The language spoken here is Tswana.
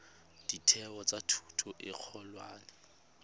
ditheo tsa thuto e kgolwane